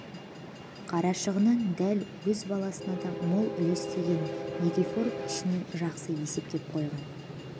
қарашығыннан дәл өз басына да мол үлес тиегінің никифоров ішінен жақсы есептеп қойған